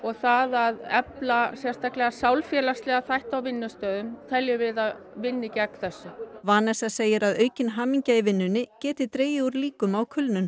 það að efla sérstaklega sálfélagslega þætti á vinnustöðum teljum við að vinni gegn þessu Vanessa segir að aukin hamingja í vinnunni geti dregið úr líkum á kulnun